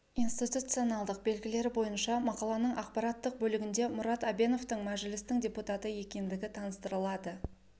институционалдық белгілері бойынша мақаланың ақпараттық бөлігінде мұрат әбеновтың мәжілістің депутаты екендігі таныстырылады